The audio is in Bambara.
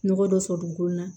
Nɔgɔ dɔ sɔrɔ dugukolo la